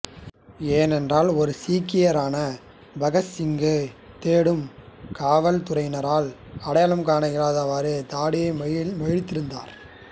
ஏனென்றால் ஒரு சீக்கியரான பகத் சிங்கை தேடும் காவல் துறையினரால் அடையாளம் காண இயலாதவாறு தாடியை மழித்திருந்தார்